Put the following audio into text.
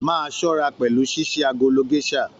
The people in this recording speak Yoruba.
Máa ṣọra pẹlú ṣiṣi agolo gèsà!